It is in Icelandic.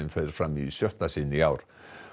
fer fram í sjötta sinn í ár